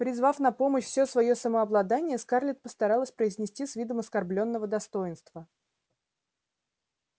призвав на помощь всё своё самообладание скарлетт постаралась произнести с видом оскорблённого достоинства